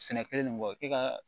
Sɛnɛ kelen nin bɔ e ka